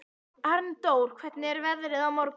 Arndór, hvernig er veðrið á morgun?